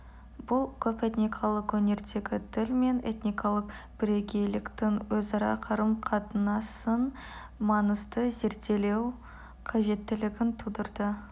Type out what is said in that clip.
бұл көпэтникалық өңірдегі тіл мен этникалық бірегейліктің өзара қарым-қатынасын маңызды зерделеу қажеттілігін тудырды